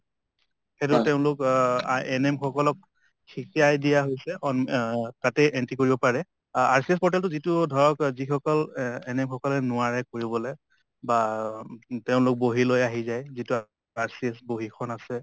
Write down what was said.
NM সকলক শিকাই দিয়া হৈছে অন এ তাতে entry কৰিব পাৰে । RCH portal টো যিটো ধৰক যিসকল NM সকলে নোৱাৰে কৰিবলে তেওঁলোক বহী লৈ আহি যায় , যিটো RCH বহিখন আছে ।